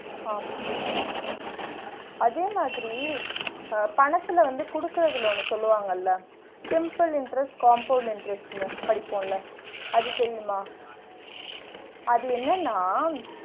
ஆமா அதே மாதிரி அஹ் பணத்துல வந்து குடுக்றதுல ஒன்னு சொல்வாங்கல்ல simple interest compound interest ன்னு படிப்போம்ல அது தெரியுமா? அது என்னனா?